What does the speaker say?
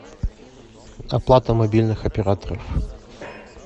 оплата мобильных операторов